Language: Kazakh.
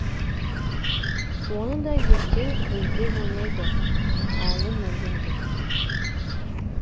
оны да ертең көздеп ойнайды әлі мерген күз